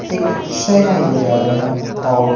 एक सैनाई बजा रहे हैं और--